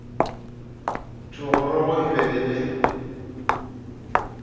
thogorogo e be e le